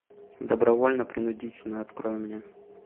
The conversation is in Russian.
добровольно принудительно открой мне